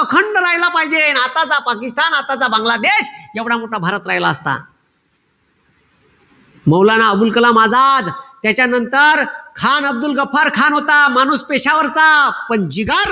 अखंड राहिलेला पायजे. अन आताचा पाकिस्तान आताचा बांगलादेश एवढा मोठा भारत राहिला असता. मौलाना अबुल कलाम आझाद. त्याच्यानंतर खान अब्दुल गफार खान होता. माणूस पेशावरचा. पण जिगर,